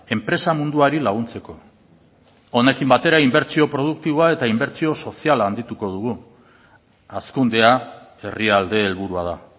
enpresa munduari laguntzeko honekin batera inbertsio produktiboa eta inbertsio soziala handituko dugu hazkundea herrialde helburua da